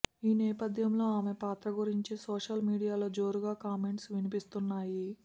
ఈ నేపథ్యంలో ఆమె పాత్ర గురించి సోషల్ మీడియాలో జోరుగా కామెంట్స్ వినిపిస్తున్నాయి